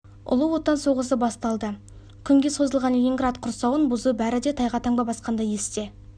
ұлы отан соғысы басталды күнге созылған ленинград құрсауын бұзу бәрі де тайға таңба басқандай есте